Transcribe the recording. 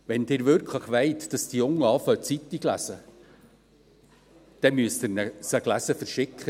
Wenn Sie wirklich wollen, dass die Jungen mit dem Zeitunglesen beginnen, dann müssen Sie ihnen die Zeitung gelesen verschicken.